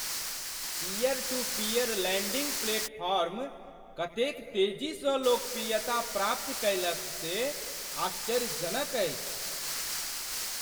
Peer to peer lending platform कतेक तेजीसँ लोकप्रियता प्राप्त कयलक से आश्चर्यजनक अछि ।